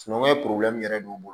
Sinankunya yɛrɛ b'u bolo